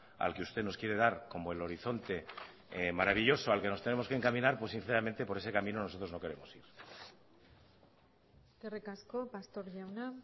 al que usted nos quiere dar como el horizonte maravilloso al que nos tenemos que encaminar pues sinceramente por ese camino nosotros no queremos ir eskerrik asko pastor jauna